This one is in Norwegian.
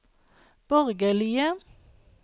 borgerlige